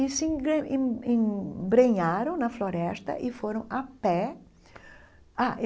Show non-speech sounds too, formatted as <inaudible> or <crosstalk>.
E se <unintelligible> em embrenharam na floresta e foram a pé ah.